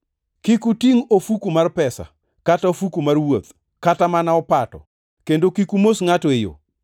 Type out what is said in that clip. Kik utingʼ ofuku mar pesa, kata ofuku mar wuoth, kata mana opato, kendo kik umos ngʼato e yo.